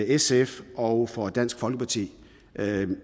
sf og for dansk folkeparti